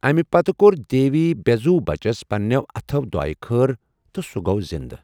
اَمہِ پتہٕ کوٚر دیوی بےٚ زُو بَچس پنٛنیٚو اَتھو دُعاے خٲر، تہٕ سُہ گوٚو زِنٛدٕ ۔